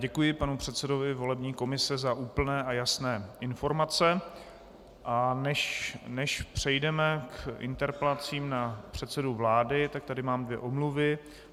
Děkuji panu předsedovi volební komise za úplné a jasné informace, a než přejdeme k interpelacím na předsedu vlády, tak tady mám dvě omluvy.